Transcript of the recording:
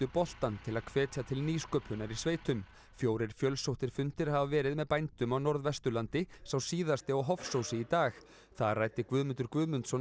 boltann til að hvetja til nýsköpunar í sveitum fjórir fjölsóttir fundir hafa verið með bændum á Norðvesturlandi sá síðasti á Hofsósi í dag þar ræddi Guðmundur Guðmundsson